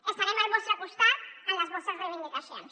estarem al vostre costat en les vostres reivindicacions